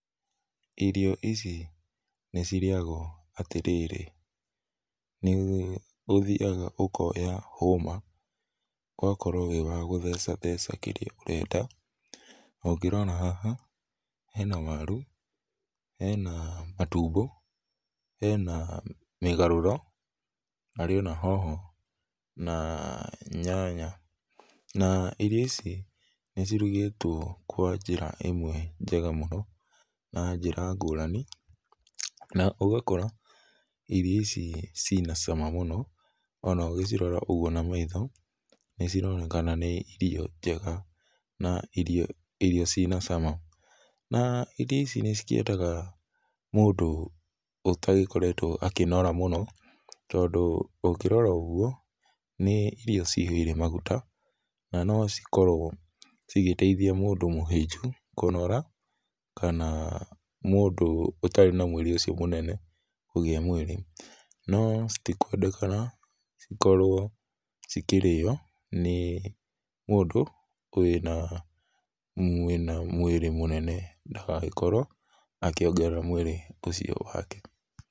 Irio ici nĩcirĩagwo atĩrĩrĩ, nĩũthiaga ũkoya hũma, ũgakorwo wĩ wa gũthecatheca kĩrĩa ũrenda. Ũngĩrora haha hena waru, hena matumbo, hena mĩgarũro, harĩ ona hoho na nyanya. Na irio ici nĩcirugĩtwo kwa njĩra ĩmwe njega mũno na njĩra ngũrani, na ũgakora irio ici ciĩna cama mũno ona ũgĩcirora ũguo na maitho nĩcironekana nĩ irio njega na irio irio ciĩna cama. Na, irio ici nĩcikĩendaga mũndũ ũtagĩkoretwo akĩnora mũno, tondũ ũkĩrora ũguo nĩ irio cihũire maguta, na nocikorwo cigĩteithia mũndũ mũhĩnju kũnora, kana mũndũ ũtarĩ na mwĩrĩ ũcio mũnene kũgĩa mwĩrĩ. No, citikwendekana cikorwo cikĩrĩo nĩ mũndũ wĩna, wĩna mwĩrĩ mũnene ndagagĩkorwo akĩongerera mwĩrĩ ũcio wake.